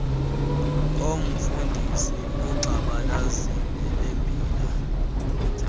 komfundisi ungxabalazile ebhila